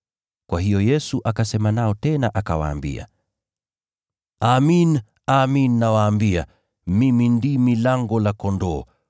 Kwa hiyo Yesu akasema nao tena akawaambia, “Amin, amin nawaambia, mimi ndimi lango la kondoo.